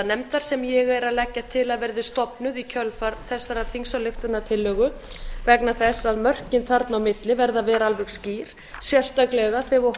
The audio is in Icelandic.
auðlindanefndar sem ég er að leggja til að verði stofnuð í kjölfar þessarar þingsályktunartillögu vegna þess að mörkin þarna á milli verða að vera alveg skýr sérstaklega þegar við